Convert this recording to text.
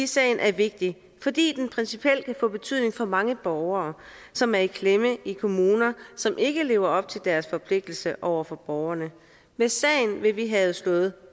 sagen er vigtig fordi den principielt kan få betydning for mange borgere som er i klemme i kommuner som ikke lever op til deres forpligtelser over for borgerne med sagen vil vi have slået